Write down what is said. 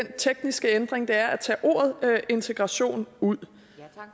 tekniske ændring det er at tage ordet integration ud